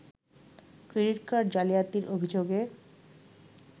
credit card জালিয়াতির অভিযোগে